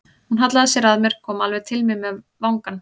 Hún hallaði sér að mér, kom alveg til mín með vangann.